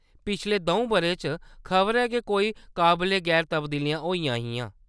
पिछले दऊं बʼरें च खबरै गै कोई काबले-गैर तब्दीलियां होइयां हियां।